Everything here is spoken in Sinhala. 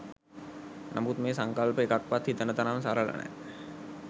නමුත් මේ සංකල්ප එකක්වත් හිතන තරම් සරල නෑ.